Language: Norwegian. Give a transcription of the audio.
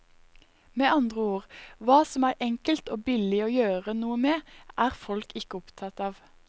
Med andre ord, hva som er enkelt og billig å gjøre noe med, er folk ikke opptatt av.